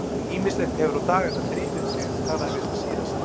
Ýmislegt hefur á dagana drifið síðan ég talaði við þig síðast.